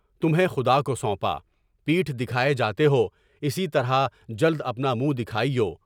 تمہیںخدا کو سونپا، پیٹھ دکھائے جاتے ہو، اسی طرح جلد اپنا منہ دکھائیو۔